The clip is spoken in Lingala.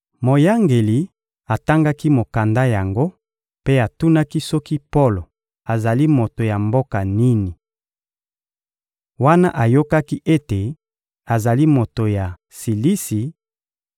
Moyangeli atangaki mokanda yango mpe atunaki soki Polo azali moto ya mboka nini. Wana ayokaki ete azali moto ya Silisi,